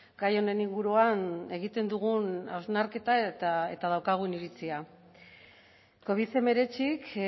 gai honen inguruan egiten dugun hausnarketa eta daukagun iritzia covid hemeretzik